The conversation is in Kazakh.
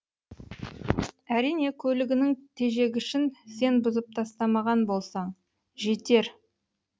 әрине көлігінің тежегішін сен бұзып тастамаған болсаң жетер